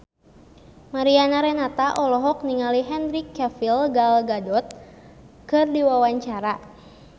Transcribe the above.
Mariana Renata olohok ningali Henry Cavill Gal Gadot keur diwawancara